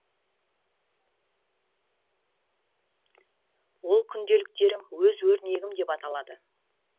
ол күнделіктерім өз өрнегім деп аталады